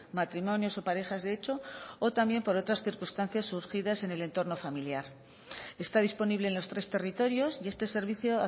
matrimonios o parejas de hecho o también por otras circunstancias surgidas en el entorno familiar está disponible en los tres territorios y este servicio